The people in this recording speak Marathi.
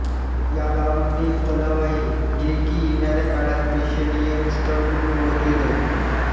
या गावामध्ये एक तलाव आहे जे की येणाऱ्या काळात प्रेक्षणीय स्थळ म्हणून ओळखले जाईल